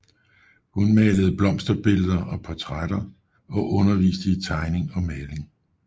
Hun malede blomsterbilleder og portrætter og underviste i tegning og maling